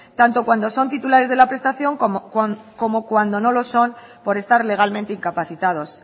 tanto cuando son titulares de la prestación como cuando no lo son por estar legalmente incapacitados